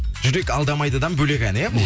жүрек алдамайдыдан бөлек ән иә бұл